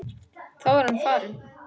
Þá er hann farinn.